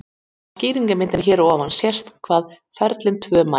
Á skýringarmyndinni hér að ofan sést hvar ferlin tvö mætast.